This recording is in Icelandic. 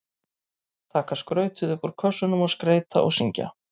Taka skrautið upp úr kössunum og skreyta og syngja.